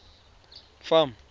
farm